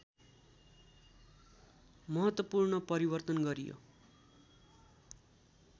महत्त्वपूर्ण परिवर्तन गरियो